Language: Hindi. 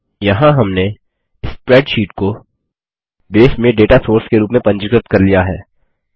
यहाँ हमने स्प्रैडशीट को बेस में डेटा सोर्स के रूप में पंजीकृत कर लिया है